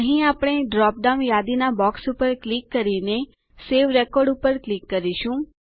અહીં આપણે drop down યાદીના બોક્સ ઉપર ક્લિક કરીને સવે રેકોર્ડ ઉપર ક્લિક કરીશું